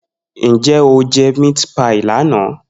Nje o je meat pie lana?